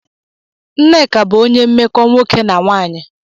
Nneka bụ onye mmekọ nwoke na nwanyị